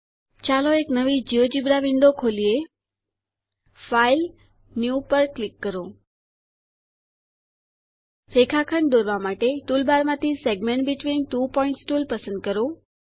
ચાલો એક નવી જિયોજેબ્રા વિંડો ખોલીએ ફાઇલ ન્યૂ પર ક્લિક કરો રેખાખંડ દોરવા માટે ટૂલબાર માંથી segment between two points tool પસંદ કરો